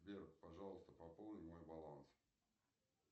сбер пожалуйста пополни мой баланс